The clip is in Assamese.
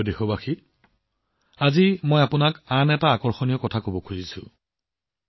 মোৰ মৰমৰ দেশবাসী আজি আৰু এটা আমোদজনক কথা কব বিচাৰিছো